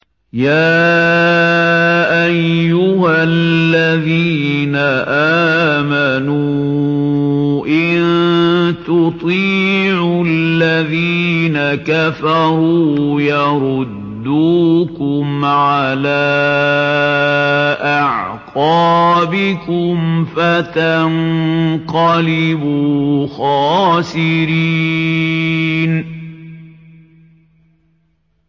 يَا أَيُّهَا الَّذِينَ آمَنُوا إِن تُطِيعُوا الَّذِينَ كَفَرُوا يَرُدُّوكُمْ عَلَىٰ أَعْقَابِكُمْ فَتَنقَلِبُوا خَاسِرِينَ